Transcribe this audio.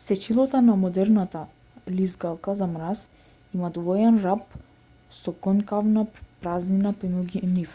сечилото на модерната лизгалка за мраз има двоен раб со конкавна празнина помеѓу нив